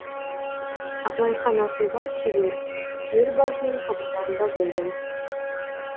абылайхан асылбай шебер елбасының қабылдауында болдым